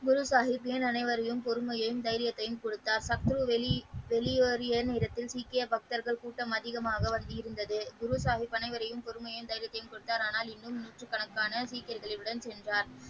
முள் சாகிப் ஏன் அனைவரையும் பொறுமையும் தைரியத்தையும் கொடுத்தார் சத்ரு வெள்ளியோரின் இடத்தில் சீக்கிய பக்தர்கள் கூட்டம் அதிகமாக வந்திருந்தன குரு சாகிப் அனைவரையும் பொறுமையும் தைரியத்தையும் கொடுத்தார் ஆனால் இன்றும் இன்னும் நூற்றுக்கணக்கான சீக்கியர்களுடன் சென்று.